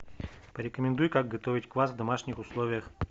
порекомендуй как готовить квас в домашних условиях